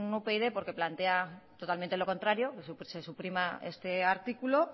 upyd porque plantean completamente lo contrario que se suprima este artículo